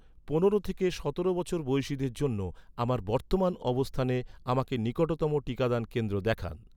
পনেরো থেকে সতেরো বছর বয়সিদের জন্য, আমার বর্তমান অবস্থানে, আমাকে নিকটতম টিকাদান কেন্দ্র দেখান